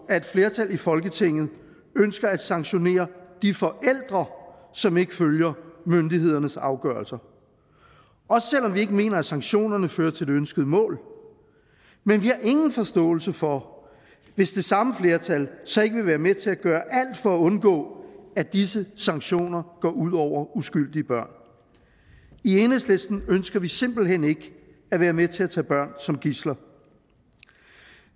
at et flertal i folketinget ønsker at sanktionere de forældre som ikke følger myndighedernes afgørelser også selv om vi ikke mener at sanktionerne fører til det ønskede mål men vi har ingen forståelse for hvis det samme flertal så ikke vil være med til at gøre alt for at undgå at disse sanktioner går ud over uskyldige børn i enhedslisten ønsker vi simpelt hen ikke at være med til at tage børn som gidsler